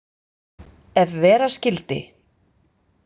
Ef vera skyldi.